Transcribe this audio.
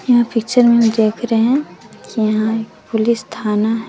यहां पिक्चर में देख रहे हैं यहां एक पुलिस थाना--